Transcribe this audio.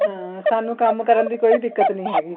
ਹਾਂ ਸਾਨੂੰ ਕੰਮ ਕਰਨ ਦੀ ਕੋਈ ਦਿੱਕਤ ਨਹੀਂ ਹੈਗੀ